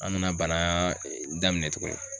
An bnana bana daminɛ tuguni.